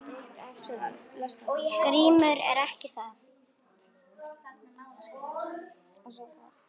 GRÍMUR: Ekki það?